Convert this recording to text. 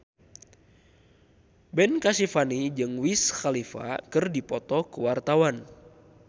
Ben Kasyafani jeung Wiz Khalifa keur dipoto ku wartawan